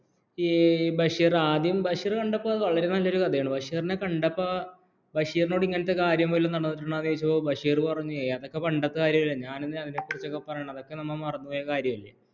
ബഷീർ ആദ്യം ബഷീർ കണ്ടപ്പോൾ വളരെ നല്ലൊരു കഥയാണ് ബഷീറിനെ കണ്ടപ്പോൾ ബഷീറിനോട് ഇങ്ങനത്തെ കാര്യം വല്ലത്തും നടന്നിട്ടുട്ടോ ചോദിച്ചപ്പോൾ ബഷീർ പറഞ്ഞു അതൊക്കെ പണ്ടത്തെ കാര്യമല്ല ഞാൻ എതിനാ അവനെ കുറിച്ചുപരായന്നത് അതൊകെ നമ്മ മറന്നുപോയകരിയമല്ലേ